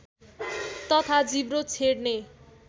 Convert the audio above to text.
तथा जिब्रो छेड्ने